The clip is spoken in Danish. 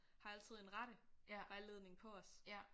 Har altid en rettevejledning på os